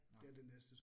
Nåh